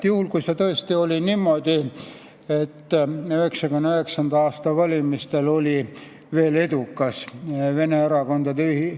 Juhul kui tõesti oli niimoodi, et 1999. aasta valimistel oli veel edukas vene erakondade nimekiri ...